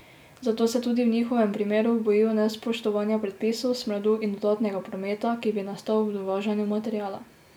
Zato se tudi v njihovem primeru bojijo nespoštovanja predpisov, smradu in dodatnega prometa, ki bi nastal ob dovažanju materiala.